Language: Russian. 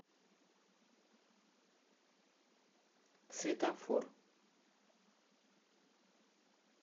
светофор